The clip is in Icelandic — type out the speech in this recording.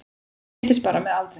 Hann styrkist bara með aldrinum